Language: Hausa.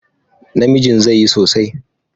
Namijin zai yi sosai.